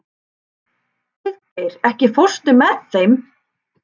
Auðgeir, ekki fórstu með þeim?